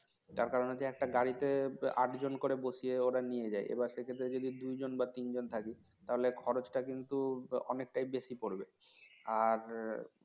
যার কারণে হচ্ছে একটা গাড়িতে আট জন করে বসিয়ে ওরা নিয়ে যায় এবার সে ক্ষেত্রে যদি দু জন বা তিন জন থাকি তাহলে খরচটা কিন্তু অনেকটাই বেশি পড়বে আর